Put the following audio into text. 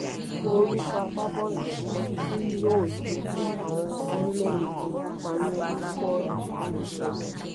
wo orúkọ agbábọ́ọ̀lù kọ̀ọ̀kan tí yóò ṣojú àwọn orílẹ̀‐èdè tó ń kópa ní quaar twenty twenty two